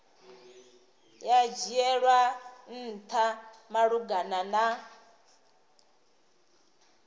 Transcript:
ya dzhielwa ntha malugana na